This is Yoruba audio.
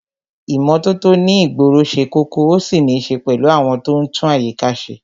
ìmótótó ní ìgboro se kókó,o sì nì se pèlú àwon to n tún àyíká se